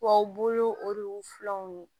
Wa u bolo o de y'u filɛw ye